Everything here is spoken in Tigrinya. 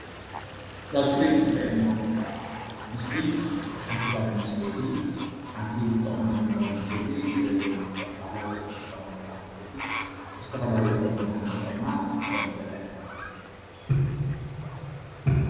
ኣብዚ እስክሪን ዝረአየና ዘላ ምስሊ ሓንቲ ጓል ኣነስትይቲ ሓንቲ ዝተቆነነት ጓል ኣነስተይቲ ባህላዊ ጥልፊ ዝተከደነት ጓል ኣነስተይቲ ዝተፈላለዩ ባህልን ጥበብን ተጠቂማእትጠልፍ ዘላ እያ፡፡